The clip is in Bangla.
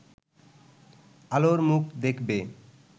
আলোর মুখ দেখবে